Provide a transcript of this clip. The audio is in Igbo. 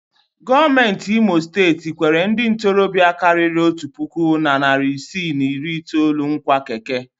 Gọọmentị imo steeti kwere ndị ntorobịa karịrị otu puku na narị isii na iri itoolu nkwa keke.